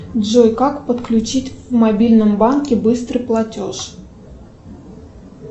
джой как подключить в мобильном банке быстрый платеж